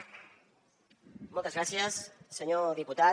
moltes gràcies senyor diputat